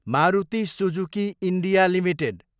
Maruti Suzuki India Ltd